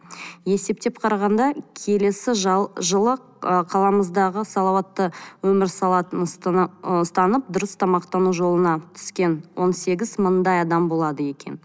есептеп қарағанда келесі жылы ы қаламыздағы салауатты өмір ы ұстанып дұрыс тамақтану жолына түскен он сегіз мыңдай адам болады екен